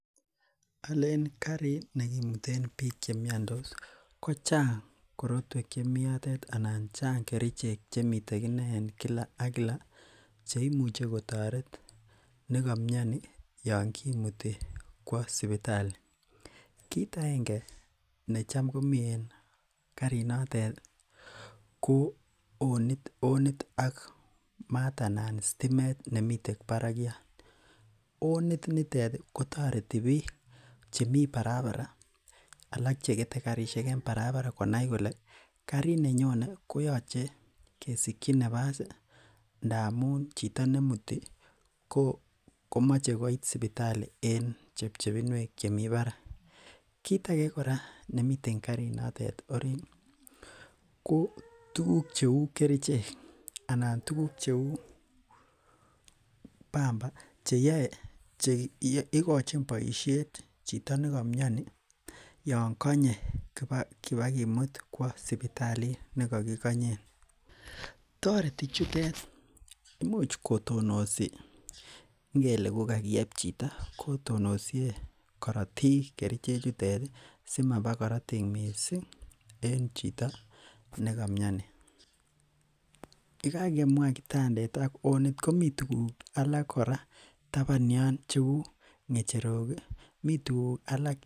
Olen karit nekimuten biik chemiondos ko chang korotwek chemi yotet anan chang kerichek chemiten en kila ak kila cheimuche kotoret nekomioni yoon kimuti kwoo sipitali, kiit akenge netam komii en karinotet ko onit ak sitimet anan maat nemiten en barakiat, onitet kotoreti biik alak chemi barabara alak chekete karishek en barabara konai kolee karit nenyone kesikyi nabas amun chito nemuti komoche koit sipitali en chepchepinwek chemi barak, kiit akee kora nemiten karinotet oriit ko tukuk cheuu kerichek anan tukuk cheu bamba cheyoe cheikochin boishet chito nekomioni yoon konye kibakimut kwo sipitalit nekokikonyen, toreti chutet imuch kotonosi ingele kokakieb chito kotonosie korotik kerichechutet simaba korotik mising en chito nekomioni, yekakemwa kitandet ak onit komii tukuk alak kora taban yoon cheu ngechero, mii tukuk alak.